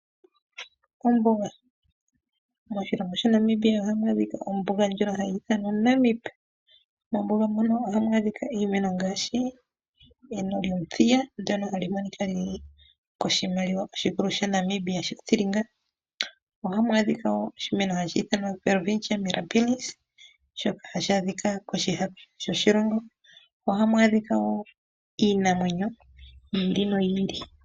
Ombuga .Moshilongo sha Namibia ohamu adhika ombuga . Ohamu adhika iimeno ngaashi eno lyomuthiya ndono hali monika lili koshimaliwa oshikulu sha Namibia shothilinga . Ohamu adhika woo oshimeno hashi ithanwa o Welwistchia mirabilis shoka hashi adhika koshihako shoshilongo. Ohamu adhika woo iinamwenyo yi ili noyi ili.